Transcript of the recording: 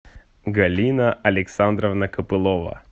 галина александровна копылова